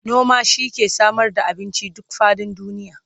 noma shi ke Samar da abinci duk faɗin duniya